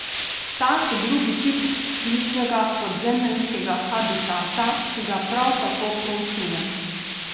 Ta so drugi tip plitvega podzemeljskega habitata, ki ga prav tako proučujem.